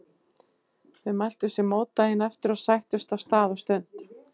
Þau mæltu sér mót daginn eftir og sættust á stað og stund.